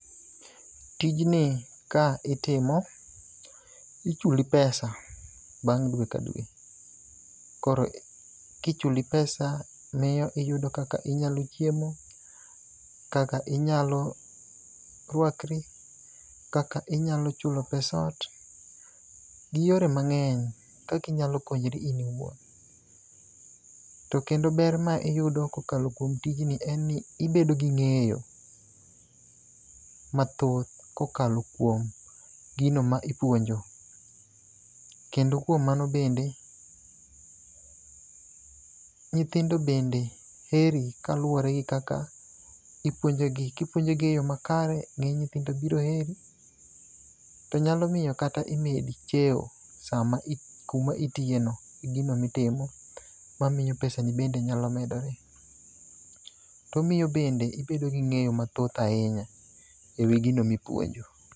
Tijni ka itimo, ichuli pesa bang' dwe ka dwe. Koro kichuli pesa miyo iyudo kaka inyalo chiemo, kaka inyalo rwakri, kaka inyalo chulo pes ot, gi yore mang'eny kaka inyalo konyri in iwuon. To kendo ber ma iyudo kokalo kum tijni en ni ibedo gi ng'eyo mathoth kokalo kuom gino ma ipuonjo. Kendo kuom mano bende, nyithindo bende heri kaluwore gi kaka ipuonjogi, kipuonjogi e yo makare, nyithindo biro heri, to nyalo miyo kaka imedi cheo kuma itiyeno, igino mitimo mamiyo pesani bende nyalo medore. Omiyo bende ibedo gi ng'eyo mathoth ahinya e wi gino ma ipuonjo.